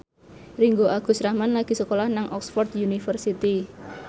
Ringgo Agus Rahman lagi sekolah nang Oxford university